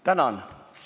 Tänan!